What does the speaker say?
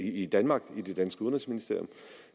i danmark i det danske udenrigsministerium